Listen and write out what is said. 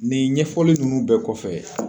Nin ɲɛfɔli nunnu bɛɛ kɔfɛ